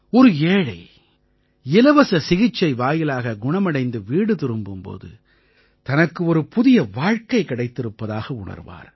ஒரு ஏழை இலவச சிகிச்சை வாயிலாக குணமடைந்து வீடு திரும்பும் போது தனக்கு ஒரு புதிய வாழ்க்கை கிடைத்திருப்பதாக உணர்வார்